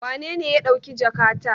Wanene ya ɗauki jakata?